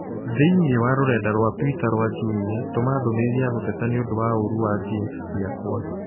Thĩinĩ wa rũrenda rũa tũita rũa Jumia tũma ndũmĩrĩri ya gũteta nĩ ũndũ wa ũũrũ wa jeans ciakwa.